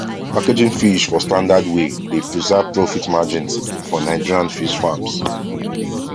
packaging fish for standard way dey preserve profit margins for nigerian fish farms